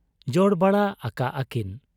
ᱡᱚᱲᱵᱟᱲᱟ ᱟᱠᱟᱜ ᱟ ᱠᱤᱱ ᱾